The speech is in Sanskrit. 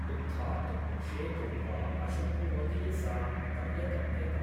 उत्थातुं शेतुं वा अशक्नुवती सा पर्यतप्यत ।